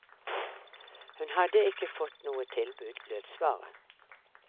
Hun hadde ikke fått noe tilbud, lød svaret.